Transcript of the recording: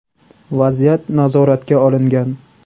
Vaziyat nazoratga olingan.